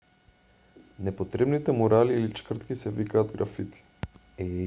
непотребните мурали или чкртки се викаат графити